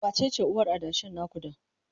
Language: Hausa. wacece uwar adashin na ku da?